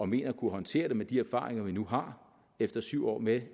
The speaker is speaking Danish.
mener at kunne håndtere det med de erfaringer vi nu har efter syv år med